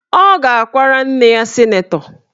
Ọ ga-akwara nna ya sịnetọ